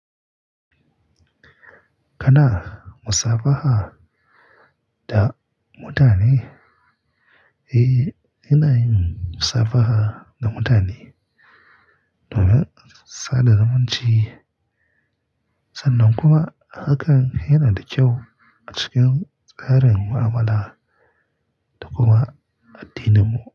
Kana musabaha da mutane? Eh, ina yin musabaha da mutane domin sada zumunci sannan kuma hakan yana da kyau a cikin tsarin mu'amala da kuma addininmu.